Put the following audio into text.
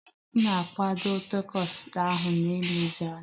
M kwadebe takos ahu na nlezianya